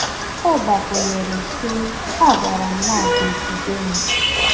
Ọ gbakwụnyere sị: “A gwara m na a ga-ejide m.